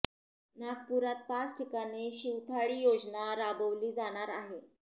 नागपूरात पाच ठिकाणी शिवथाळी योजना राबवली जाणार आहे